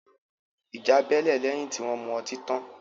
Ìjà bẹ́lẹ̀ lẹ́yìn tí wọn mu ọtí tan